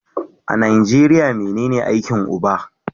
A Nijeriya menen aikin uba?